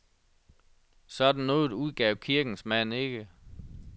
Sådan noget udgav kirkens mand ikke.